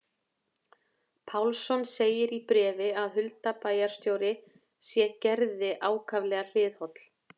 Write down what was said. Pálsson segir í bréfi að Hulda bæjarstjóri sé Gerði ákaflega hliðholl.